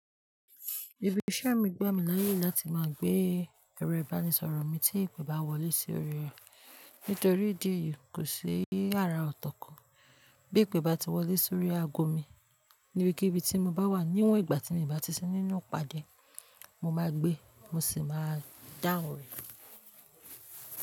Ìbí ìṣẹ́ mi gbá mi láyè láti máa gbé ẹ̀rọ ìbánisọ̀rọ̀ mi tí ìpè bá wọlé si órí rẹ̀, nítorí ìdí èyí kò ṣi ara ọ̀tọ̀ kọ́. Bí ìpè bá ti wọlé sórí aago mi níbikíbi tí mo bá wà, níwọ̀n ìgbà tí mi bá ti sí nínú ìpàdé, mo máa gbé, mo sì máa dáhùn rẹ̀.